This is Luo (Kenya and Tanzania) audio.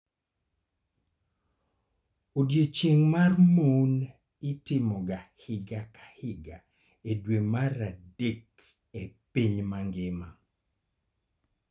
Odiechieng' mar mon itimoga higa ka higa e dwe mar adek e piny mangima.